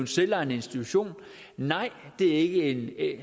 selvejende institution nej det er ikke